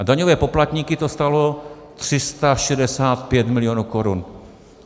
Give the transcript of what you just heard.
A daňové poplatníky to stálo 365 milionů korun.